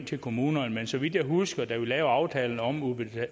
til kommunerne men så vidt jeg husker da vi lavede aftalen om